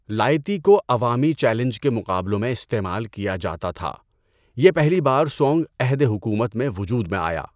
لائتی کو عوامی چیلنج کے مقابلوں میں استعمال کیا جاتا تھا، یہ پہلی بار سونگ عہد حکومت میں وجود میں آیا۔